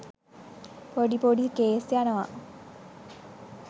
පොඩි පොඩි කේස් යනවා.